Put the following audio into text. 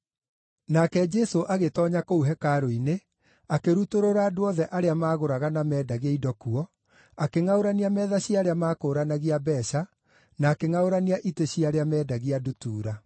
Nake Jesũ agĩtoonya kũu hekarũ-inĩ akĩrutũrũra andũ othe arĩa maagũraga na meendagia indo kuo, akĩngʼaũrania metha cia arĩa maakũũranagia mbeeca, na akĩngʼaũrania itĩ cia arĩa meendagia ndutura.